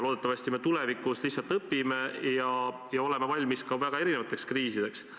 Loodetavasti me nüüd lihtsalt õpime ja oleme tulevikus valmis ka väga erinevateks kriisideks.